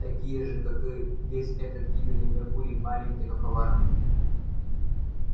такие же как и весь этот гибельный меркурий маленький но коварный